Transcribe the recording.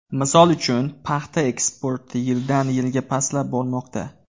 Misol uchun, paxta eksporti yildan yilga pastlab bormoqda.